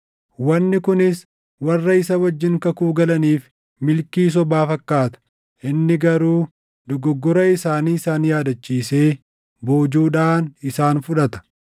Wanni kunis warra isa wajjin kakuu galaniif milkii sobaa fakkaata; inni garuu dogoggora isaanii isaan yaadachiisee boojuudhaan isaan fudhata.